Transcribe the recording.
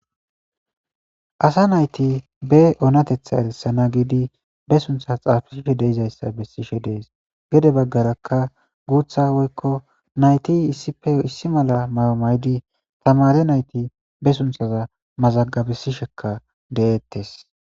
asa nayti be oonatetha erissana giidi be sunththa xaafisishe de'izayssa besishe dees gedde baggarakka guuththa woykko nayti issippe issi mala mayo mayidi tamaare nayti be sunththaza mazagabesishekka de'eettes